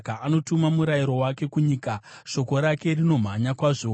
Anotuma murayiro wake kunyika; shoko rake rinomhanya kwazvo.